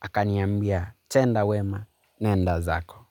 Akaniambia tenda wema nendazako.